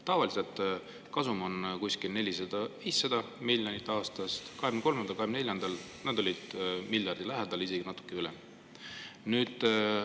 Tavaliselt on kasum 400–500 miljonit aastas, 2023. ja 2024. aastal oli see miljardi lähedal, isegi natuke rohkem.